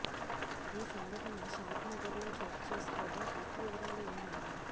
ఈ సంఘటన షాద్ నగర్ లో చోటుచేసుకోగా పూర్తి వివరాలు ఇలా ఉన్నాయి